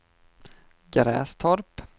Grästorp